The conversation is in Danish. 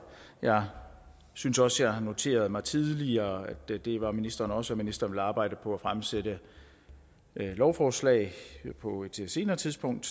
jeg synes også at jeg har noteret mig tidligere at det var ministeren også og at ministeren ville arbejde på at fremsætte et lovforslag på et senere tidspunkt